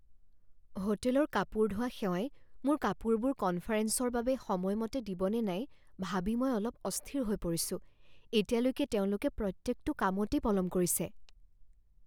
হোটেলৰ কাপোৰ ধোৱা সেৱাই মোৰ কাপোৰবোৰ কনফাৰেঞ্চৰ বাবে সময়মতে দিব নে নাই ভাবি মই অলপ অস্থিৰ হৈ পৰিছোঁ। এতিয়ালৈকে তেওঁলোকে প্ৰত্যেকটো কামতেই পলম কৰিছে।